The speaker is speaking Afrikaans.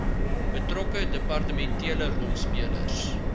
betrokke departementele rolspelers